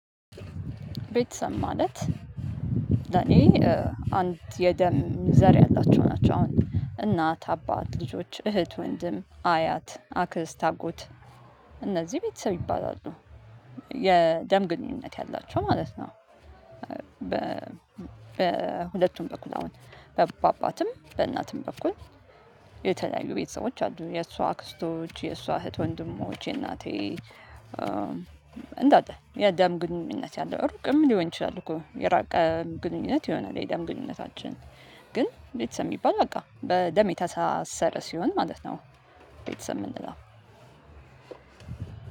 ቤተሰብ ማለት ለኔ አንድ የደም ዘር ያላቸው ናቸው አሁን እናት አባት ልጆች እህት ወንድም አያት አክስት አጎት እነዚ ቤተሰብ ይባላሉ የደም ግንኙነት ያላቸው ማለት ነው። በሁለቱም በኩል አሁን ባባትም በእናትም በኩል የተለያዩ ቤተሰቦች አሉ። የእሷ አክስቶች የእሷ እህት ወንድሞች የእናቴ እንዳለ የአዳም ግንኙነት ያለው ሩቅም ሊሆን ይችላል እኮ የራቀ ግንኙነት ይሆናል የደም ግንኙነታችን። ግን ቤተሰብ ሚባል በቃ በደም የተሳሰረ ሲሆን ማለት ነው። ቤተሰብ ምንለው